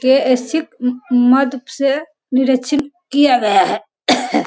से निरिक्षण किया गया हैं।